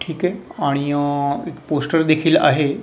ठीक आहे आणि अ एक पोस्टर देखील आहे.